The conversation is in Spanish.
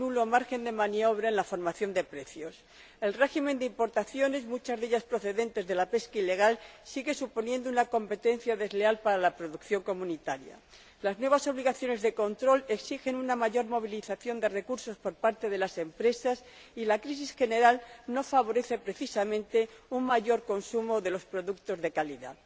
margen de maniobra casi nulo en la formación de precios el régimen de importaciones, muchas de ellas procedentes de la pesca ilegal, sigue suponiendo una competencia desleal para la producción de la UE las nuevas obligaciones de control exigen una mayor movilización de recursos por parte de las empresas y la crisis general no favorece precisamente un mayor consumo de los productos de calidad.